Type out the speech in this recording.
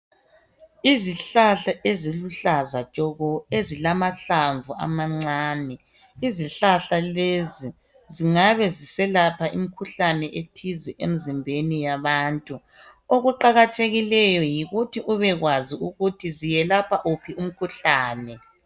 Izihlahla eziluhlaza tshoko ezilamahlamvu amancane. Izihlahla lezi zingabe ziselapha imikhuhlane ethize emzimbeni yabantu. Okuqakathekileyo yikuthi ubekwazi ukuthi ziyelapha wuphi umkhuhlane.